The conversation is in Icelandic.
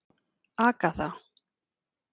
Agatha